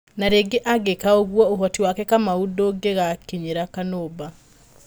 Na rĩngĩ angĩka ũguo ũhoti wake Kamau ndungĩgakĩnyĩra Kanumba.